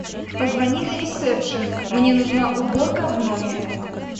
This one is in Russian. позвони на ресепшен мне нужна уборка в номере